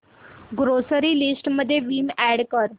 grocery list मध्ये Vim add कर